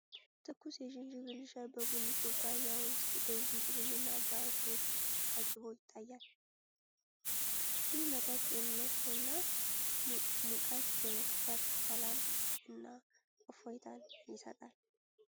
ትኩስ የዝንጅብል ሻይ በቡኒ ኩባያ ውስጥ፣ በዝንጅብል እና በአዝሙድ ቅጠል ታጅቦ ይታያል። ይህ መጠጥ ጤንነትንና ሙቀት በመፍጠር ሰላም እና እፎይታ ይሰጣል።